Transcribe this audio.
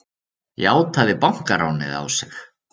Játaði bankaránið á sig